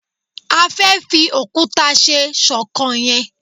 a fe fi okuta se ṣọkan yen